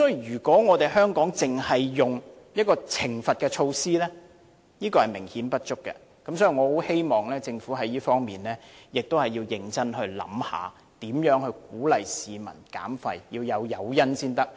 如果香港只使用懲罰措施是明顯不足的，我希望政府在這方面認真考慮如何鼓勵市民減廢，要有誘因才行。